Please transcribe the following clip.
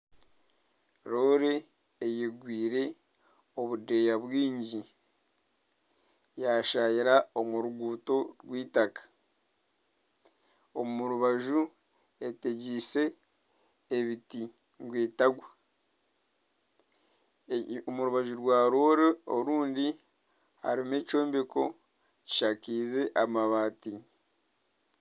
Loore eyegwire obudeeya bwingi yashayira omu ruguuto rw'itaaka omu rubaju etegyise ebiti ngu etagwa omu rubaju rwa loore orundi harimu ekyombeko kishakize amabaati.